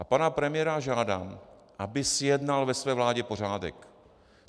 A pana premiéra žádám, aby zjednal ve své vládě pořádek.